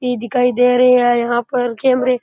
इ दिखाई दे रे है यहाँ पर कैमरे --